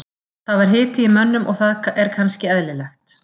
Það var hiti í mönnum og það er kannski eðlilegt.